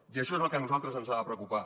i això és el que a nosaltres ens ha de preocupar